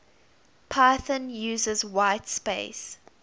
python uses whitespace